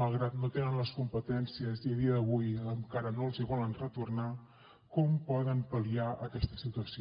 malgrat que no tenen les competències i a dia d’avui encara no els hi volen retornar poden pal·liar aquesta situació